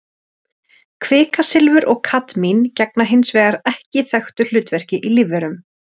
Kvikasilfur og kadmín gegna hins vegar ekki þekktu hlutverki í lífverum.